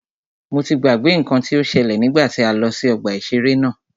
Mo ti gbàgbé nnkan tí o ṣẹ́lẹ̀ nígbà tí a lọ sí ọgbà ìṣẹ̀rẹ́ náà.